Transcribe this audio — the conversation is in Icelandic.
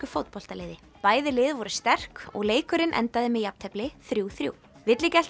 fótboltaliði bæði lið voru sterk og leikurinn endaði með jafntefli þrjú þrjú